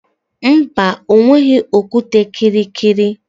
Mba, o nweghị okwute kịrịkịrị